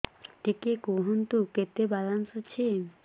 ଟିକେ କୁହନ୍ତୁ କେତେ ବାଲାନ୍ସ ଅଛି